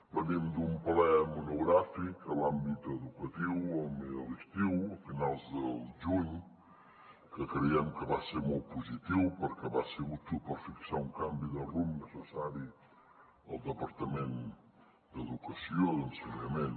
venim d’un ple monogràfic a l’àmbit educatiu a l’estiu a finals de juny que creiem que va ser molt positiu perquè va ser útil per fixar un canvi de rumb necessari al departament d’educació d’ensenyament